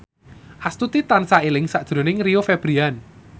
Astuti tansah eling sakjroning Rio Febrian